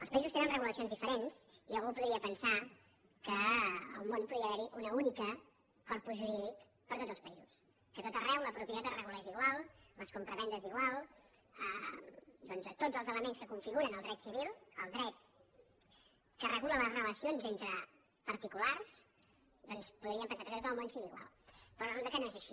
els països tenen regulacions diferents i algú podria pensar que en el món podria haver hi un únic corpus jurídic per a tots els països que a tot arreu la propietat es regulés igual les compravendes igual doncs tots els elements que configuren el dret civil el dret que regula les relacions entre particulars podrien pensar que a tot el món sigui igual però resulta que no és així